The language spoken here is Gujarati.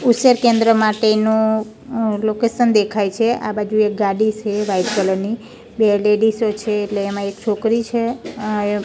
ઉછેર કેન્દ્ર માટેનું લોકેશન દેખાય છે આ બાજુ એક ગાડી સે વાઈટ કલર ની બે લેડીઝો છે એટલે એમાં એક છોકરી છે--